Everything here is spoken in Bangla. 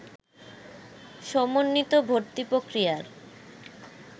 সমন্বিত ভর্তি পক্রিয়ার